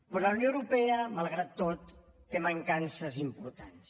però la unió europea malgrat tot té mancances importants